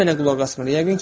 O mənə qulaq asmır.